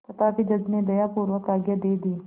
तथापि जज ने दयापूर्वक आज्ञा दे दी